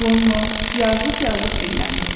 Ronno yazıq-yazıq dilləndi.